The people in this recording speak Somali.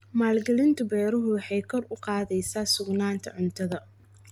Maalgelinta beeruhu waxay kor u qaadaysaa sugnaanta cuntada.